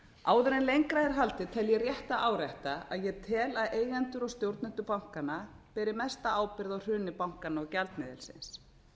áður en lengra er haldið tel ég rétt að árétta að ég tel að eigendur og stjórnendur bankanna beri mesta ábyrgð á hruni bankanna og gjaldmiðilsins